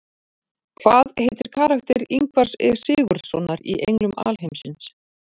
Hvað heitir karakter Ingvars E Sigurðssonar í Englum alheimsins?